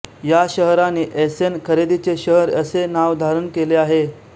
या शहराने ऐसेन खरेदीचे शहर असे नाव धारण केले आहे